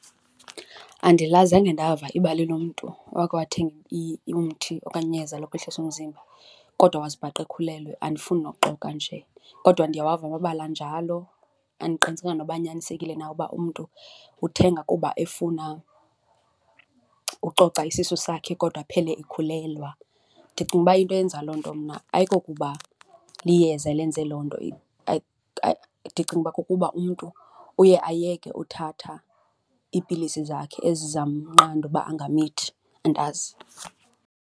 Andilazi, zange ndava ibali lomntu owakhe wathenga umthi okanye iyeza lokwehlisa umzimba kodwa wazibhaqa ekhulelwe, andifuni nokuxoka nje. Kodwa ndiyawava amabali anjalo, andiqinisekanga noba anyanisekile na uba umntu uthenga kuba efuna ucoca isisu sakhe kodwa aphele ekhulelwa. Ndicinga uba into eyenza loo nto mna ayikokuba liyeza elenze loo nto, ndicinga uba kukuba umntu uye ayeke uthatha iipilisi zakhe ezizamnqanda uba angamithi, andazi.